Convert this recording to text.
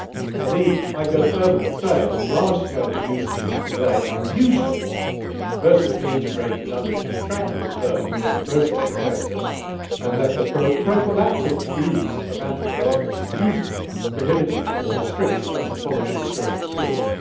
Indeed, I would go further and say that large scale producers today are usually vertically integrated under contractual terms with the processing sector, and that the prophylactic use of antibiotics is usually prohibited or restricted under quality assurance schemes.